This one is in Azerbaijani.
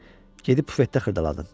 Gedib bufetdə xırdaladın.